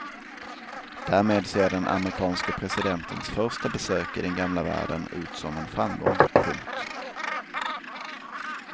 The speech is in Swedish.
Därmed ser den amerikanske presidentens första besök i den gamla världen ut som en framgång. punkt